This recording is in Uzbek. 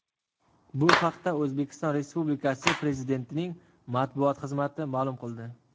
Bu haqda O‘zbekiston Respublikasi Prezidentining Matbuot xizmati ma’lum qildi .